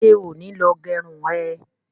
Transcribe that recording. Ṣé ò ní lọ gẹrun ẹ?